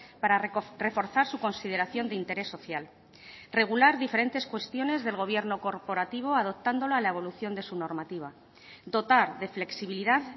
para reforzar su consideración de interés social regular diferentes cuestiones del gobierno corporativo adoptándolo a la evolución de su normativa dotar de flexibilidad